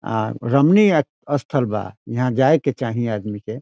आ रमणी अ स्थल बा यहाँ जाय के चाही आदमी के।